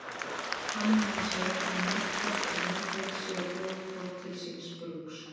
Þannig má segja að netkort og mótöld séu góð hvort til síns brúks.